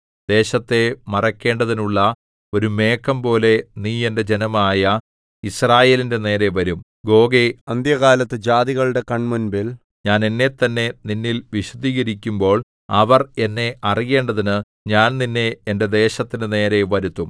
ദേശത്തെ മറയ്ക്കേണ്ടതിനുള്ള ഒരു മേഘംപോലെ നീ എന്റെ ജനമായ യിസ്രായേലിന്റെ നേരെ വരും ഗോഗേ അന്ത്യകാലത്ത് ജാതികളുടെ കൺമുമ്പിൽ ഞാൻ എന്നെത്തന്നെ നിന്നിൽ വിശുദ്ധീകരിക്കുമ്പോൾ അവർ എന്നെ അറിയേണ്ടതിന് ഞാൻ നിന്നെ എന്റെ ദേശത്തിന്റെ നേരെ വരുത്തും